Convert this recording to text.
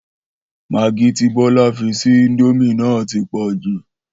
Magí tí Bó̩lá fi sí íńdómì náà ti pò̩jù